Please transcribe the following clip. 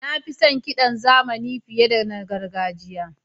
Na fi son kiɗan zamani fiye da na gargajiya.